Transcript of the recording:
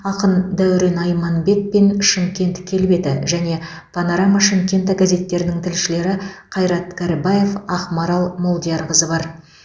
ақын дәурен айманбет пен шымкент келбеті және панорама шымкента газеттерінің тілшілері қайрат карибаев ақмарал молдиярқызы бар